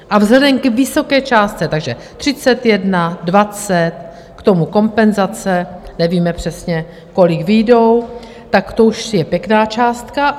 A vzhledem k vysoké částce - takže 31, 20, k tomu kompenzace, nevíme přesně, kolik vyjdou, tak to už je pěkná částka.